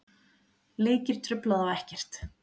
Leikir trufla þá ekkert.